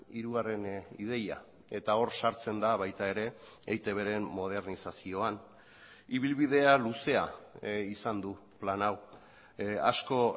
hirugarren ideia eta hor sartzen da baita ere eitbren modernizazioan ibilbidea luzea izan du plan hau asko